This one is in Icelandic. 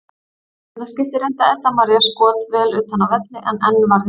Í seinna skiptið reyndi Edda María skot vel utan af velli en enn varði Mist.